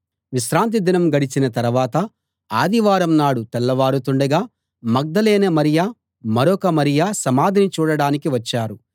విశ్రాంతిదినం గడిచిన తరవాత ఆదివారం నాడు తెల్లవారుతుండగా మగ్దలేనే మరియ మరొక మరియ సమాధిని చూడడానికి వచ్చారు